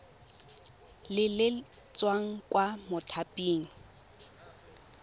le le tswang kwa mothaping